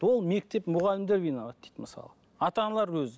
ол мектеп мұғалімдер виноват дейді мысалы ата аналар өзі